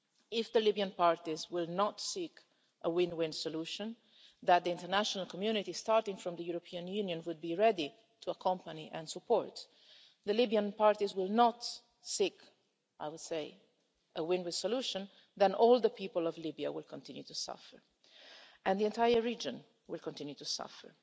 If the Libyan parties will not seek a win win solution that the international community, starting with the European Union, would be ready to accompany and support and the Libyan parties will not seek, I would say, a win win solution then all the people of Libya will continue to suffer and the entire region will continue to suffer.